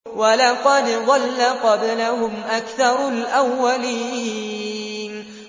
وَلَقَدْ ضَلَّ قَبْلَهُمْ أَكْثَرُ الْأَوَّلِينَ